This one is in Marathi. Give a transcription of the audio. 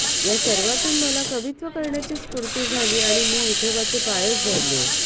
या सर्वांतून मला कवित्व करण्याची स्फूर्ती झाली आणि मी विठोबाचे पायच धरले